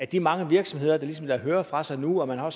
de mange virksomheder der ligesom lader høre fra sig nu og man har